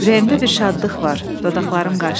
Ürəyimdə bir şadlıq var, dodaqlarım qaşdı.